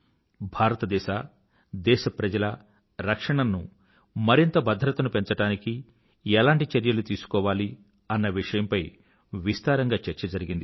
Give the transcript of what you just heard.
భారత దేశ దేశప్రజల రక్షణను మరింత భద్రతను పెంచడానికి ఎలాంటి చర్యలు తీసుకోవాలి అన్న విషయంపై విస్తారంగా చర్చ జరిగింది